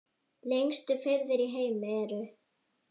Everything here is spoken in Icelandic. Lengstu firðir í heimi eru